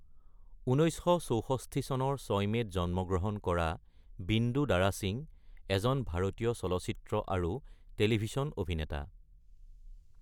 ১৯৬৪ চনৰ ৬ মে'ত জন্মগ্ৰহণ কৰা বিন্দু দাৰা সিং এজন ভাৰতীয় চলচ্চিত্ৰ আৰু টেলিভিছন অভিনেতা।